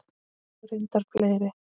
Og reyndar fleiri.